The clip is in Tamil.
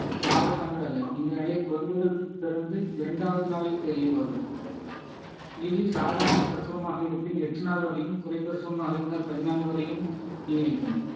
ஆபத்தானது அல்ல இந்த நிலை குழந்தைகள் பிறந்து இரண்டாவது நாளில் தெரிய வரும் இது சாதாரண பிரசவமாக இருப்பின் எட்டு நாள் வரையும் குறை பிரசவமாக இருந்தால் பதினான்கு வரையும் நீடிக்கும்